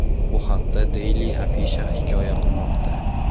Bu haqda Daily Afisha hikoya qilmoqda .